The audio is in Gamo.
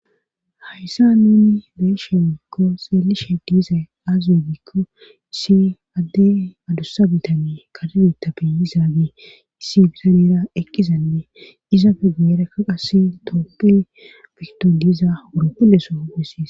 Hayssa nuni beeshegiikko xeelishe diizay aaziwe gikko issi adde adussa bitani kadiditabe izaage issi zarera ekkizanne izaafe geerekka qasi tooppe fikto diiza wuropulleso hogesis.